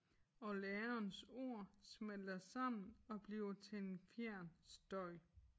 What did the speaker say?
Og lærerens ord smelter sammen og bliver til en fjern støj